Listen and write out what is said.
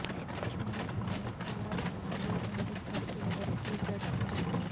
کشمیر سمیت پورا شمالی ہند سرد لہر کی زد میں